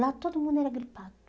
Lá todo mundo era gripado.